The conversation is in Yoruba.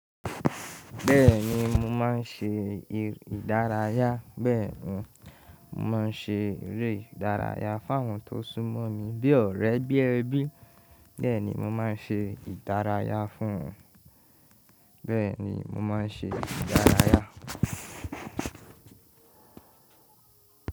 Bẹ́ẹ̀ ni, mò máa ń ṣe ìdárayá. Bẹ́ẹ̀ ni, mò máa ń ṣe eré ìdárayá fún àwọn tó súnmọ́ mi bí ọ̀rẹ́ bí ẹbí. Bẹ́ẹ̀ ni, mò máa ń ṣe ìdárayá fún wọn. Bẹ́ẹ̀ ni, mò máa ń ṣe ìdárayá.